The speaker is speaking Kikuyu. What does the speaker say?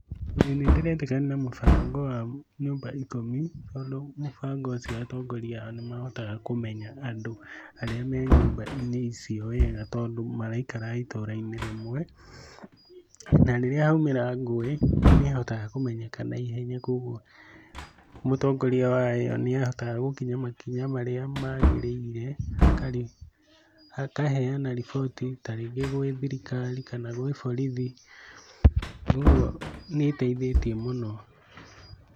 Ĩĩ nĩndĩretĩkania na mũbango wa nyũmba ikũmi tondũ mũbango ũcio atongoria nĩmahotaga kũmenya andũ arĩa me nyũmba-inĩ icio wega tondũ maraikara itũũra-inĩ rĩmwe. Na rĩrĩa haumĩra ngũĩ nĩĩhotaga kũmenyeka naihenya kogwo mũtongoria wa ĩ yo nĩ ahotaga gũkinya makinya marĩa magĩrĩire na akaheyana riboti ta rĩngĩ gwĩ thirikari kana gwĩ borithi, ũguo nĩĩteithĩtie mũno.